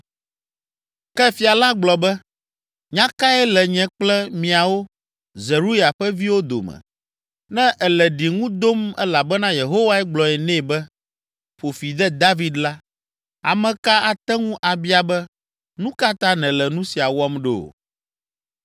Ke fia la gblɔ be, “Nya kae le nye kple miawo, Zeruya ƒe viwo, dome? Ne ele ɖiŋu dom elabena Yehowae gblɔ nɛ be, ‘Ƒo fi de David’ la, ame ka ate ŋu abia be, ‘Nu ka ta nèle nu sia wɔm ɖo?’ ”